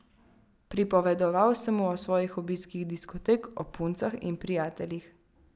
Pripovedoval sem mu o svojih obiskih diskotek, o puncah in prijateljih.